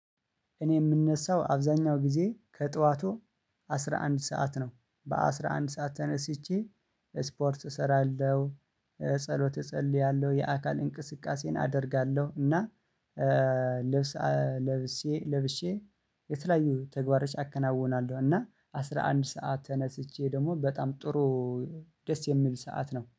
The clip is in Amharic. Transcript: እኔ የምነሳው አብዛኛውን ጊዜ ከጧቱ አስራ አንድ ስዓት ነው አስራ አንድ ስዓት ተነስቸ እስፖርት እሰራለሁ ጸሎት እጸልያለው የአካል እንቅስቃሴን አደርጋለሁ። እና ልብስኣ ለብሸ ለብሸ የተለያዩ ተግባሮች አከናውናለሁ። እና አስራ አንድ ስዓት ተነስቸ ደግሞ በጣም ጥሩ ደስ የሚል ስዓት ነው